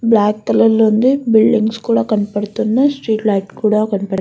Black colour లో ఉంది. Buildings కూడా కనపడుతున్నాయి. స్ట్రీట్ లైట్స్ కనపడు --